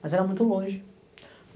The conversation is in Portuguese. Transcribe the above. Mas era muito longe.